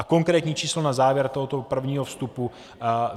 A konkrétní číslo na závěr tohoto prvního vstupu.